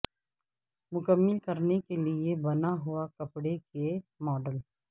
مکمل کرنے کے لئے بنا ہوا کپڑے کے ماڈل